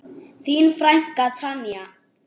Þín frænka Tanja.